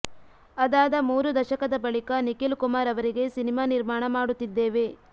ಅದಾದ ಮೂರು ದಶಕದ ಬಳಿಕ ನಿಖಿಲ್ಕುಮಾರ್ ಅವರಿಗೆ ಸಿನಿಮಾ ನಿರ್ಮಾಣ ಮಾಡುತ್ತಿದ್ದೇವೆ